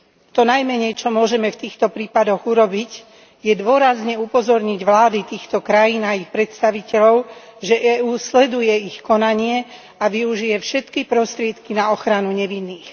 To najmenej, čo môžeme v týchto prípadoch urobiť, je dôrazne upozorniť vlády týchto krajín a ich predstaviteľov, že EÚ sleduje ich konanie a využije všetky prostriedky na ochranu nevinných.